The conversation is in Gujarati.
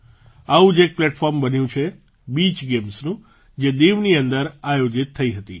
આવું જ એક પ્લેટફૉર્મ બન્યું છે બીચ ગેમ્સનું જે દીવની અંદર આયોજિત થઈ હતી